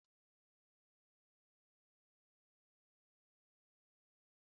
A na-eji ụdị anụ dị iche iche eme ofe ose